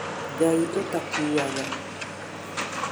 Ngai ũtakuaga